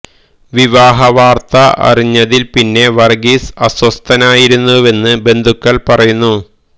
വിവാഹ വാര്ത്ത അറിഞ്ഞതില് പിന്നെ വര്ഗ്ഗീസ് അസ്വസ്ഥതനായിരുന്നുവെന്ന് ബന്ധുക്കള് പറയുന്നു